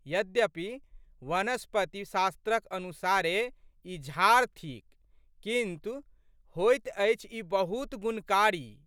यद्यपि वनस्पति शास्त्रक अनुसारे ई झाड़ थिक किन्तु, होइत अछि ई बहुत गुणकारी।